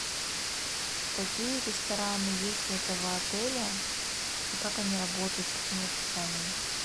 какие рестораны есть у этого отеля и как они работают с каким расписанием